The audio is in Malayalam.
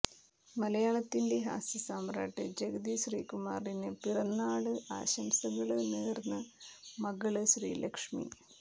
മലയാളത്തിന്റെ ഹാസ്യ സാമ്രാട്ട് ജഗതി ശ്രീകുമാറിന് പിറന്നാള് ആശംസകള് നേര്ന്ന് മകള് ശ്രീലക്ഷ്മി